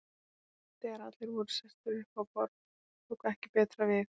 Þegar allir voru sestir upp á borð tók ekki betra við.